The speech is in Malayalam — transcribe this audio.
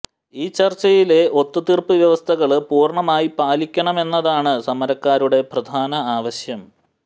ഈ ചര്ച്ചയിലെ ഒത്തുതീര്പ്പ് വ്യവസ്ഥകള് പൂര്ണ്ണമായി പാലിക്കണമെന്നതാണ് സമരക്കാരുടെ പ്രധാന ആവശ്യം